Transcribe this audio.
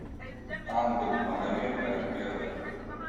ангел магомед аликперов